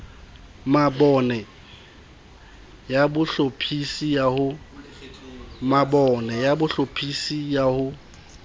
mabone ya bohlophisi ya ho